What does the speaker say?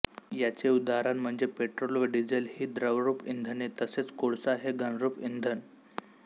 याचे उदाहरण म्हणजे पेट्रोल व डीझेल ही द्रवरूप इंधने तसेक कोळसा हे घनरूप इंधन